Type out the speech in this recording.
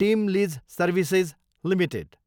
team lease services Ltd